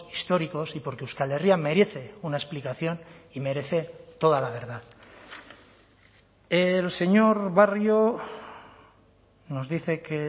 históricos y porque euskal herria merece una explicación y merece toda la verdad el señor barrio nos dice que